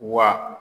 Wa